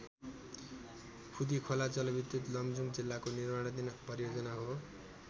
खुँदिखोला जलविद्युत लमजुङ जिल्लाको निर्माणाधीन परियोजना हो।